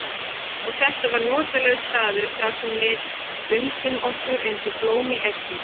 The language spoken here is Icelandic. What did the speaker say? Og þetta var notalegur staður þar sem við undum okkur eins og blóm í eggi.